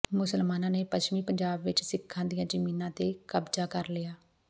ਮੁਸਲਮਾਨਾ ਨੇ ਪੱਛਮੀ ਪੰਜਾਬ ਵਿੱਚ ਸਿੱਖਾਂ ਦੀਆਂ ਜ਼ਮੀਨਾਂ ਤੇ ਕਬਜਾ ਕਰ ਲਿਆ